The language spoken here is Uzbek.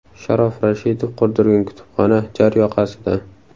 Sharof Rashidov qurdirgan kutubxona jar yoqasida.